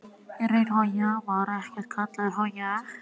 Ég er í raun og veru kallaður.